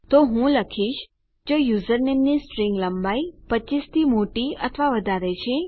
તો હું લખીશ જો યુઝરનેમની સ્ટ્રીંગ લંબાઈ 25 થી મોટી અથવા વધારે છે